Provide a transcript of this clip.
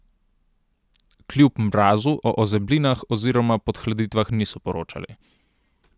Kljub mrazu o ozeblinah oziroma podhladitvah niso poročali.